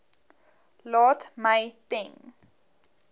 laat my ten